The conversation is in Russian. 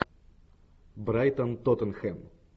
брайтон тоттенхэм